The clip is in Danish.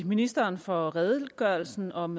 ministeren for redegørelsen om